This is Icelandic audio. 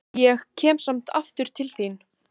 Ég kem samt aftur til þín.